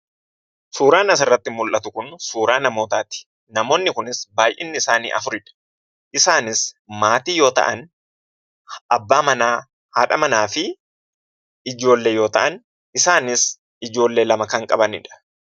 Suuraan asirratti mul'atu kun suuraa namootati. namoonni kunis baay'inni isaanii afuridha. isaanis maatii yoo ta'an, abbaa Mana, haadha Mana fi ijoollee yoo ta'an, isaanis ijoollee lama kan qabanidha.